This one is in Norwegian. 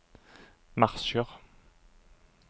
marsjer